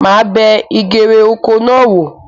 Màá bẹ ìgèrè oko náà wò